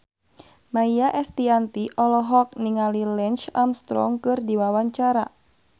Maia Estianty olohok ningali Lance Armstrong keur diwawancara